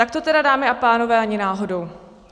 Tak to, tedy, dámy a pánové, ani náhodou.